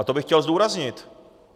A to bych chtěl zdůraznit.